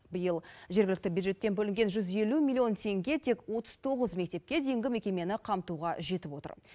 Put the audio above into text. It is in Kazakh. биыл жергілікті бюджеттен бөлінген жүз елу миллион теңге тек отыз тоғыз мектепке дейінгі мекемені қамтуға жетіп отыр